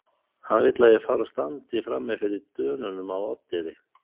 Hann vill að ég fari og standi frami fyrir Dönunum á Oddeyri.